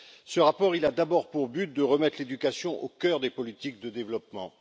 Ce rapport, il a d'abord pour but de remettre l'éducation au cœur des politiques de développement.